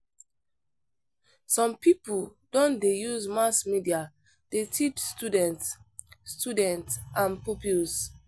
Some people don dey use mass media dey teach students students and pupils.